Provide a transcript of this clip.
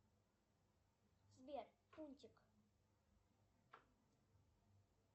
сбер фунтик